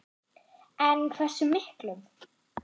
En hversu miklum?